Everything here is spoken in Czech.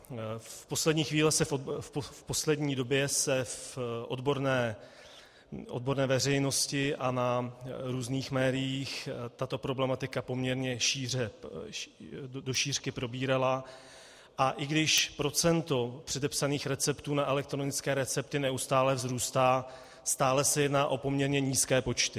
V poslední době se v odborné veřejnosti a v různých médiích tato problematika poměrně do šířky probírala, a i když procento předepsaných receptů na elektronické recepty neustále vzrůstá, stále se jedná o poměrně nízké počty.